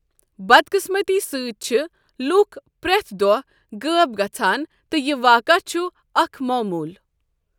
بدقۭسمٔتی سۭتۍ، چھِ لُوکھ پرٮ۪تھ دۄہہ غٲب گژھان تہٕ یہِ واقع چھُ اکھ معموٗل۔